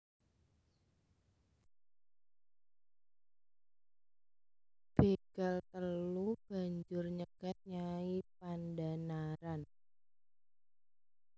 Bégal telu banjur nyegat Nyai Pandhanaran